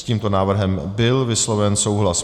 S tímto návrhem byl vysloven souhlas.